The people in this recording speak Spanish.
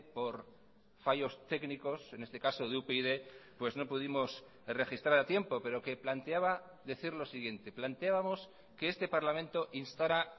por fallos técnicos en este caso de upyd pues no pudimos registrar a tiempo pero que planteaba decir lo siguiente planteábamos que este parlamento instara